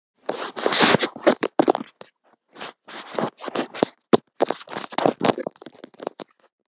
Breki: Hefur þú verið svona hræddur áður?